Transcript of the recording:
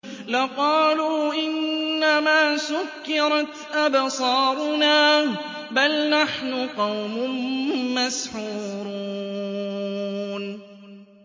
لَقَالُوا إِنَّمَا سُكِّرَتْ أَبْصَارُنَا بَلْ نَحْنُ قَوْمٌ مَّسْحُورُونَ